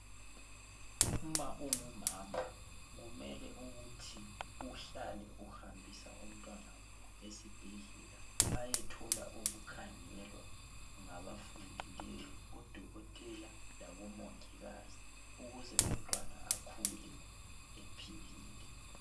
Uma ungumama kumele ukuthi uhlale uhambisa umntwana esibhedlela aye thola ukukhangelwa ngabafundileyo odokotela labomongikazi ukuze umntwana akhule ephilile.